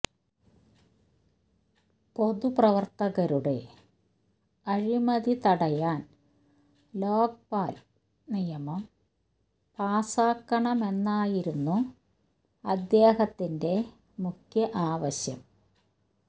പൊതുപ്രവര്ത്തകരുടെ അഴിമതി തടയാന് ലോക്പാല് നിയമം പാസാക്കണമെന്നായിരുന്നു അദ്ദേഹത്തിന്റെ മുഖ്യ ആവശ്യം